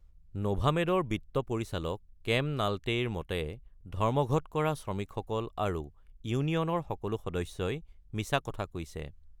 নোভামেডৰ বিত্ত পৰিচালক কেম নাল্টেইৰ মতে ধৰ্মঘট কৰা শ্ৰমিকসকল আৰু ইউনিয়নৰ সকলো সদস্যই মিছা কথা কৈছে।